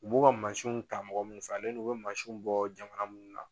U b'u ka masiw ta mɔgɔ minnu fɛ a n'u bɛ masinw bɔ jamana minnu na.